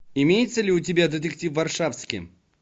имеется ли у тебя детектив варшавски